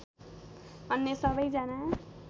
अन्य सबैजना